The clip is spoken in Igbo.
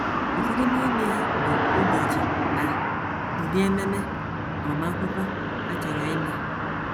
Ụfọdụ n’ime ha bụ ụbọchị na ụdị ememe agbamakwụkwọ a chọrọ ime.